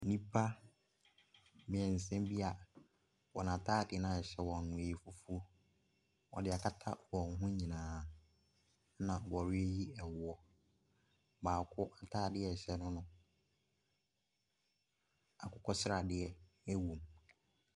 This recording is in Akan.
Nnipa mmeɛnsa bi a wɔn ataade na ɛhyɛ wɔn no ɛyɛ fufuo, wɔde akata wɔn ho nyinaa na wɔreyi ɛwoɔ. Baako ataade a ɛhyɛ no, akokɔ sradeɛ ɛwɔ mu.